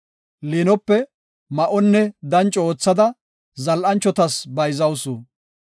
Liinope ma7onne danco oothada, zal7anchotas bayzawusu.